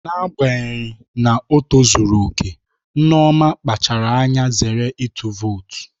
N'agbanyeghị na ọ tozuru oke, Nneoma kpachaara anya zere ịtụ vootu